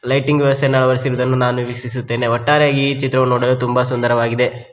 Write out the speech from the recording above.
Lighting ವ್ಯವಸ್ಥೆಯನ್ನು ಅಳವಡಿಸಿ ರುವುದನ್ನು ನಾನು ವೀಕ್ಷಿಸುತ್ತೇನೆ ಒಟ್ಟಾರೆಯಾಗಿ ಈ ಚಿತ್ರವು ನೋಡಲು ತುಂಬ ಸುಂದರವಾಗಿದೆ.